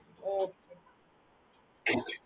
ஓஹ்